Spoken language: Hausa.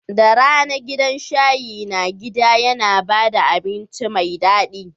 Da rana, gidan shayi na gida yana ba da abinci mai daɗi.